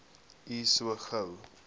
u so gou